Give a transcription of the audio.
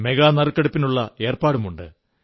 mega നറുക്കെടുപ്പിനുള്ള ഏർപ്പാടുമുണ്ട്